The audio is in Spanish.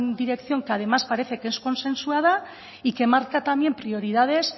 dirección que además parece que es consensuada y que marca también prioridades